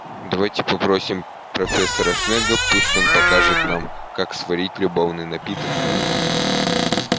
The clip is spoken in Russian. давайте попросим профессора снегга пусть он покажет нам как сварить любовный напиток